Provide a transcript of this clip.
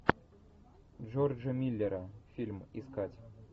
джорджа миллера фильм искать